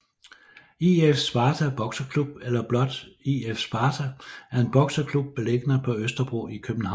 IF Sparta bokseklub eller blot IF Sparta er en bokseklub beliggende på Østerbro i København